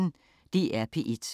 DR P1